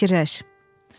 Sən bir fikirləş.